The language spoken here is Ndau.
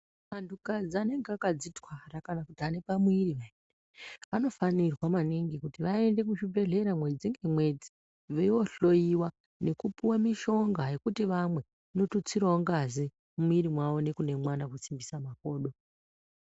Antukadzi anenge akadzitwara kana kuti ane pamwiiri pheya, anofanirwa maningi kuti vaende kuzvibhedhlera mwedzi ngemwedzi, veyoohloyiwa nekupiwe mishonga yekuti vamwe, inotutsirawo ngazi mumwiri mwavo, nekune mwana kusimbisa makodo.